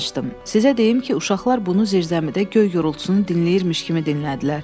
"Sizə deyim ki, uşaqlar bunu zirzəmidə göy gurultusunu dinləyirmiş kimi dinlədilər."